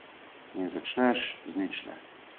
In začneš z ničle.